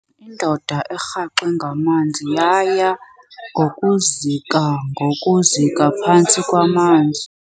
Indoda erhaxwe ngamanzi yaya ngokuzika ngokuzika phantsi kwamanzi.